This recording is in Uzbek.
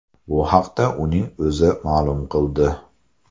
Bu haqda uning o‘zi ma’lum qildi .